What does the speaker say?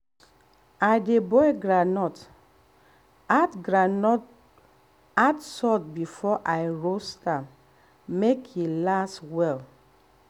i dey boil groundnut add boil groundnut add salt before i roast am make e last well.